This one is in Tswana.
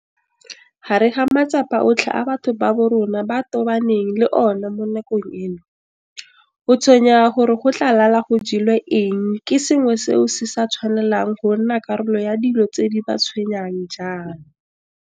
Gare ga matsapa otlhe a batho ba borona ba tobaneng le ona mo nakong eno, go tshwenyega gore go tla lala go jelwe eng ke sengwe seo se sa tshwanelang go nna karolo ya dilo tse di ba tshwenyang ga jaana.